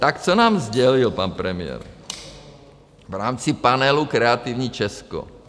Tak co nám sdělil pan premiér v rámci panelu Kreativní Česko?